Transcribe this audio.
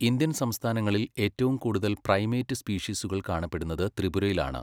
Indian സംസ്ഥാനങ്ങളിൽ ഏറ്റവും കൂടുതൽ പ്രൈമേറ്റ് സ്പീഷീസുകൾ കാണപ്പെടുന്നത് ത്രിപുരയിലാണ്.